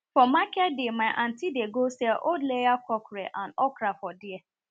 for market day my antie dey go sell old layer cockrel and okra for there